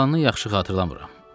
Qalanını yaxşı xatırlamıram.